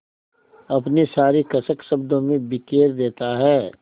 अपनी सारी कसक शब्दों में बिखेर देता है